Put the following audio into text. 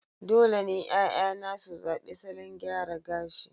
dole ne 'ya'yana su zaɓi salon gyara gashi